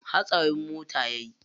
Hatsarin mota yayi.